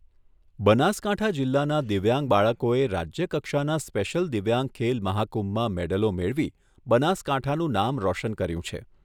બનાસકાંઠા જિલ્લાના દિવ્યાંગ બાળકોએ રાજ્યકક્ષાના સ્પેશિયલ દિવ્યાંગ ખેલ મહાકુંભમાં મેડલો મેળવી બનાસકાંઠાનું નામ રોશન કર્યું છે.